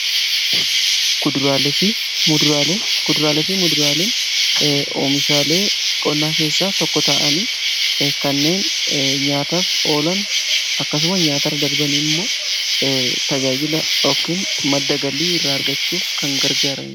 kuduraalefi muduraalen oomishaalee qonnaa keessaa tokko ta'anii kanneen nyaataaf oolan akkasuma nyaatarra darbanii immoo tajaajila yookin madda galii irraa argachuuf kan gargaaraniidha.